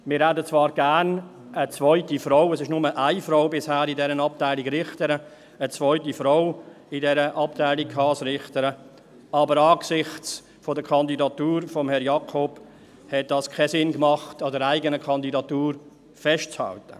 Wir hätten in dieser Abteilung zwar gerne eine zweite Frau als Richterin – bisher gibt es in dieser Abteilung nur eine Frau als Richterin –, aber angesichts der Kandidatur von Herrn Jakob machte es keinen Sinn, an der eigenen Kandidatur festzuhalten.